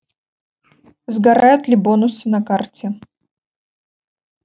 сгорают ли бонусы на карте